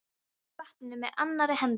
Sullaði í vatninu með annarri hendi.